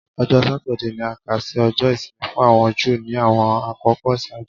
Ọjọ Satidee ni a kà si Ọjọ isimi fun awọn Ju ni awọn akoko iṣaaju